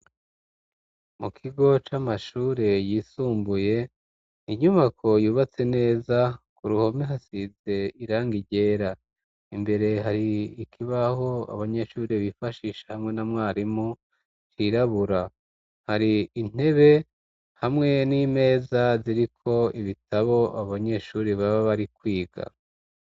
Mu kigo c'amashure yisumbuye inyubako yubatse neza ku ruhome hasize irangi ryera, imbere hari ikibaho abanyeshuri bifashisha hamwe na mwarimu cirabura, hari intebe hamwe n'imeza ziri ko ibitabo abanyeshuri baba bari kwiga.